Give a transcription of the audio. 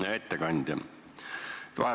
Hea ettekandja!